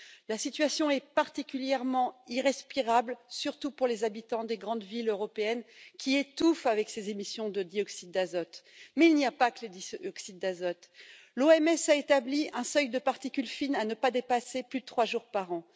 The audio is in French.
La situation est particulièrement critique pour les habitants des grandes villes européennes qui étouffent avec ces émissions de dioxyde d'azote, mais il n'y a pas que les dioxydes d'azote. L'OMS a établi un seuil de particules fines à ne pas dépasser plus de trois jours par an.